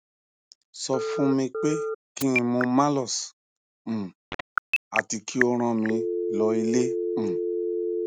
so fun mi pe kin mu malox um ati ki o rán mi lo ile um